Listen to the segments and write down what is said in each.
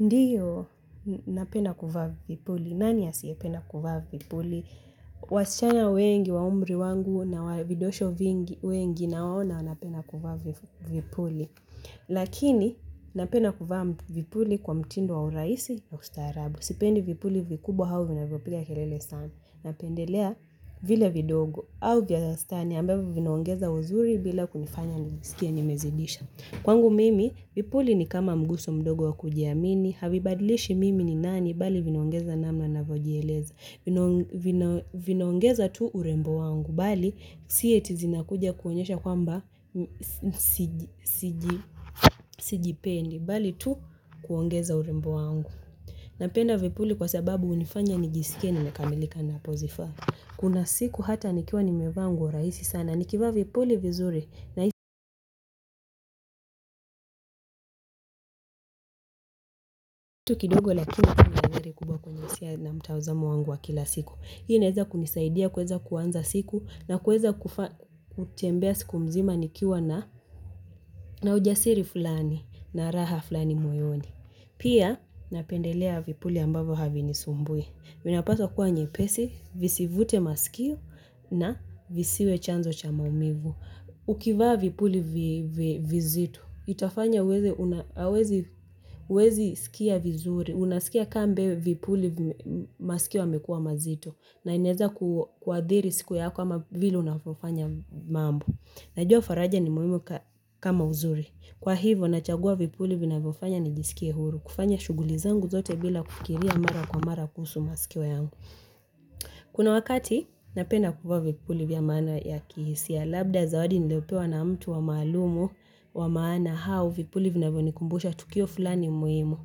Ndio, napenda kuvaa vipuli. Nani asiyependa kuvaa vipuli? Wasichana wengi, wa umri wangu na vidosho wengi naona wanapenda kuvaa vipuli. Lakini, napenda kuvaa vipuli kwa mtindo wa urahisi ya ustarabu. Sipendi vipuli vikubwa au vinavyopiga kelele sana. Napendelea vile vidogo. Au vya wastani ambavyo vinaongeza uzuri bila kunifanya nisikie nimezidisha. Kwangu mimi, vipuli ni kama mguso mdogo wa kujiamini, havibadilishi mimi ni nani, bali vinaongeza namna navyojieleza. Vinaongeza tu urembo wangu, bali si ati zinakuja kuonyesha kwamba sijipendi, bali tu kuongeza urembo wangu. Napenda vipuli kwa sababu hunifanya nijisikie nimekamilika napozivaa. Kuna siku hata nikiwa nimevaa nguo rahisi sana. Nikivaa vipuli vizuri na kitu kidogo lakini huwa na athari kubwa kwenye isia na mtazamo wangu wa kila siku. Hii inaeza kunisaidia kueza kuanza siku na kueza kufa kutembea siku mzima nikiwa na ujasiri fulani na raha fulani moyoni. Pia napendelea vipuli ambavo havinisumbui. Vinapaswa kuwa nyepesi, visivute masikio na visiwe chanzo cha maumivu. Ukivaa vipuli vizito itafanya uwezi sikia vizuri. Unasikia kambe vipuli masikio yamekua mazito na inaeza kuadhiri siku yako ama vile unavofanya mambo. Najua faraja ni muhimu kama uzuri. Kwa hivo nachagua vipuli vinavofanya nijisikie huru. Kufanya shughuli zangu zote bila kufikiria mara kwa mara kuhusu masikio yangu. Kuna wakati napenda kuvaa vipuli vya maana ya kihisia. Labda zawadi niliopewa na mtu wa maalumu wa maana hau vipuli vinavyo nikumbusha, tukio fulani muhimu.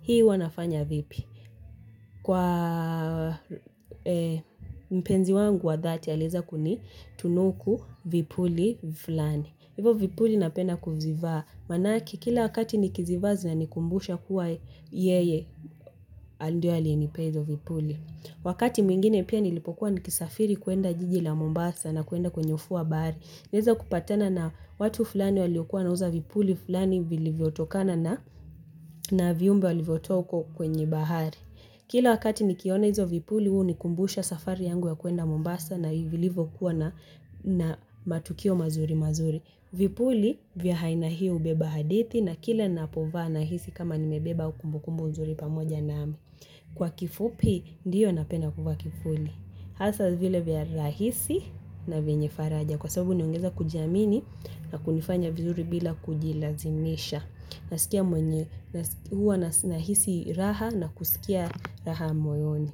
Hii wanafanya vipi. Kwa mpenzi wangu wa dhati, alieza kunitunuku vipuli vifulani. Ivo vipuli napenda kuzivaa. Maanake kila wakati nikizivaa zinanikumbusha kuwa yeye, ndiye aliyenipea izo vipuli. Wakati mwingine pia nilipokuwa nikisafiri kuenda jiji la mombasa na kuenda kwenye ufuo wa bahari. Nilieza kupatana na watu fulani waliokuwa wanauza vipuli fulani vilivyotokana na viumbe walivyotoa uko kwenye bahari. Kila wakati nikiona hizo vipuli huunikumbusha safari yangu ya kuenda Mombasa na vilivyokuwa na na matukio mazuri mazuri. Vipuli vya haina hii hubeba hadithi na kila ninapovaa nahisi kama nimebeba ukumbukumbu uzuri pamoja nami. Kwa kifupi ndiyo napenda kuvaa kifuli. Hasa vile vya rahisi na venye faraja kwa sababu huniongeza kujiamini na kunifanya vizuri bila kujilazimisha. Nasikia mwenye huwa nahisi raha na kusikia raha moyoni.